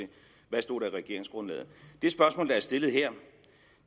stod i regeringsgrundlaget det spørgsmål der er stillet her